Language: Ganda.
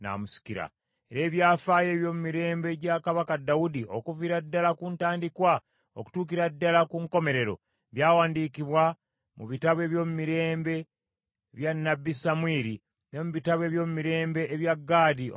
Era ebyafaayo ebyomumirembe gya kabaka Dawudi okuviira ddala ku ntandikwa okutuukira ddala ku nkomerero, byawandiikibwa mu bitabo ebyomumirembe bya nnabbi Samwiri ne mu bitabo ebyomumirembe ebya Gaadi omulabirizi,